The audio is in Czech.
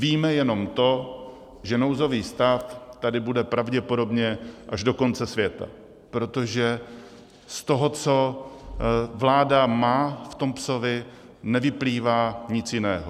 Víme jenom to, že nouzový stav tady bude pravděpodobně až do konce světa, protože z toho, co vláda má v tom "psovi", nevyplývá nic jiného.